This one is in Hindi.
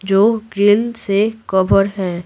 जो ग्रिल से कवर है।